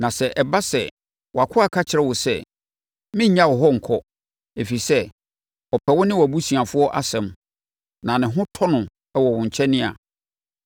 Na sɛ ɛba sɛ wʼakoa ka kyerɛ wo sɛ, “Merennya wo hɔ nkɔ”, ɛfiri sɛ, ɔpɛ wo ne wʼabusuafoɔ asɛm na ne ho tɔ no wɔ wo nkyɛn a,